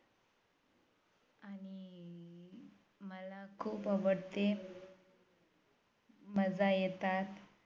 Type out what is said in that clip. खूप आवडते मजा येतात